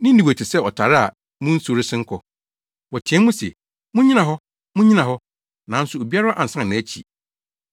Ninewe te sɛ ɔtare a mu nsu resen kɔ. Wɔteɛ mu se, “Munnyina hɔ! Munnyina hɔ!” Nanso, obiara ansan nʼakyi.